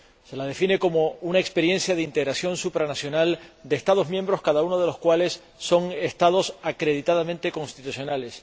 Se la define como una experiencia de integración supranacional de Estados miembros, cada uno de los cuales son Estados acreditadamente constitucionales.